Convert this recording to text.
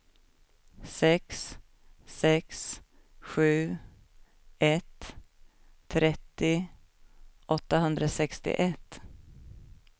sex sex sju ett trettio åttahundrasextioett